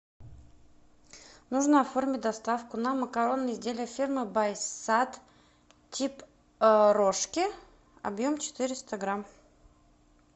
нужно оформить доставку на макаронные изделия фирмы байсад тип рожки объем четыреста грамм